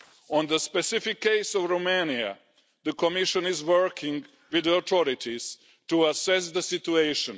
On the specific case of Romania, the Commission is working with the authorities to assess the situation.